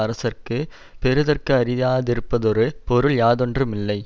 அரசர்க்கு பெறுதற்கு அரிதா யிருப்பதொரு பொருள் யாதொன்று மில்லை